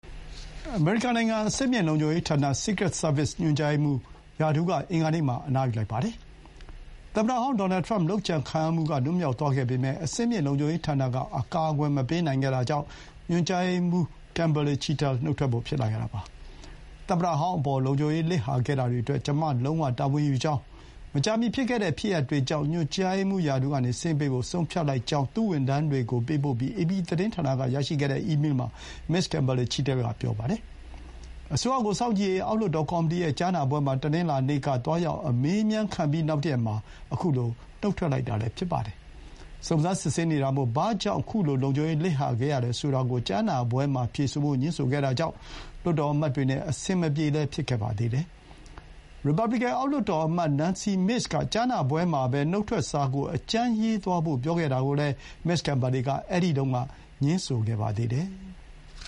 အမေရိကန်နိုင်ငံ အဆင့်မြင့်လုံခြုံရေးဌာန (secret service) ညွှန်ကြားရေးမှူးဟာ ရာထူးက အင်္ဂါနေ့မှာ အနားယူလိုက်ပါ တယ်။ သမ္မတဟောင်းဒေါ်နယ်ထရမ့် လုပ်ကြံခံရမှုကလွတ်မြောက်သွားခဲ့ပေမဲ့ အဆင့်မြင့်လုံခြုံရေးဌာနက အကာအကွယ် မပေးနိုင်ခဲ့တာကြောင့် ညွှန်ကြားရေးမှူး ကင်ဘာလေ ချိတဲလ် နုတ်ထွက်ဖို့ ဖြစ်လာခဲ့တာပါ။ “(သမ္မတဟောင်းအပေါ်) လုံခြုံရေးလစ်ဟာခဲ့တာအတွက် ကျမ လုံးဝတာဝန်ယူကြောင်း၊ မကြာမီဖြစ်ခဲ့တဲ့ ဖြစ်ရပ်တွေကြောင့် ညွှန်ကြားရေးမှူးရာထူးကနေ ဆင်းပေးဖို့ ဆုံးဖြတ်” လိုက်ကြောင်း သူ့ဝန်ထမ်းတွေကိုပေးပို့ပြီး အေပီသတင်းဌာနကရရှိခဲ့တဲ့အီးမေးမှာ မစ္စ ကင်ဘာလီ ချီတဲလ်က ပြောပါတယ်။ အစိုးရကိုစောင့်ကြည့်ရေး အောက်လွှတ်တော်ကော်မီတီရဲ့ ကြားနာပွဲမှာ တနင်္လာနေ့က သွားရောက်အမေးအမြန်းခံပြီး နောက်တရက်မှာ ခုလို နုတ်ထွက်လိုက်တာလည်း ဖြစ်ပါတယ်။ စုံစမ်းစစ်ဆေးနေတာမို့ ဘာကြောင့် ခုလို လုံခြုံရေးလစ်ဟာခဲ့ရတယ်ဆိုတာကို ကြားနာပွဲမှာ ဖြေဆိုဖို့ ငြင်းဆိုခဲ့တာကြောင့် လွှတ်တော်အမတ်တွေနဲ့ အဆင်မပြေဖြစ်ခဲ့ပါတယ်။ ရီပါဘလီကန် အောက်လွှတ်တော် အမတ် Nancy Mace က ကြားနာပွဲမှာပဲ နုတ်ထွက်စာကို အကြမ်းရေးသွားဖို့ ပြောခဲ့တာကိုလည်း မစ္စ ကင်ဘာလေ က အဲဒီတုန်းက ငြင်းဆိုခဲ့ပါသေးတယ်။